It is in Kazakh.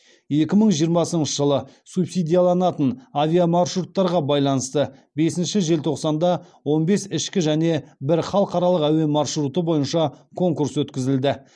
екі мың жиырмасыншы жылы субсидияланатын авиамаршруттарға байланысты бесінші желтоқсанда он бес ішкі және бір халықаралық әуе маршруты бойынша конкурс өткізілді